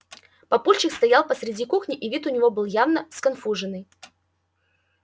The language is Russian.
папульчик стоял посреди кухни и вид у него был явно сконфуженный